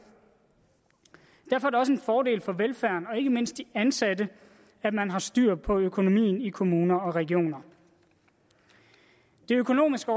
derfor er det også en fordel for velfærden og ikke mindst for de ansatte at man har styr på økonomien i kommuner og regioner det økonomiske